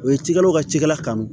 U ye cikɛlaw ka cikɛla kanu